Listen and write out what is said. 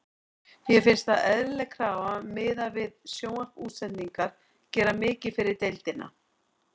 Mér finnst það eðlileg krafa miðað við hvað sjónvarpsútsendingar gera mikið fyrir deildina.